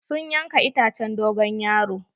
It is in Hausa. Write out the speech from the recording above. Sun yanka itacen dogon yaro.